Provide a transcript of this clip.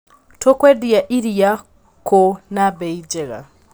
Tũkwendia iria kũ na mbei njega.